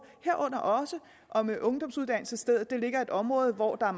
herunder også om ungdomsuddannelsesstedet ligger i et område hvor der